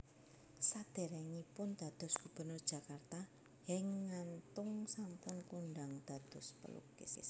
Sadèrèngipun dados Gubernur Jakarta Henk Ngantung sampun kondhang dados pelukis